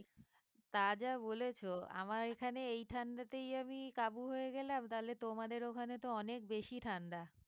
তা যা বলেছ আমার এখানে এই ঠান্ডাতেই আমি কাবু হয়ে গেলাম তালে তোমাদের ওখানে তো অনেক বেশি ঠাণ্ডা।